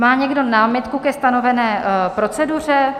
Má někdo námitku ke stanovené proceduře?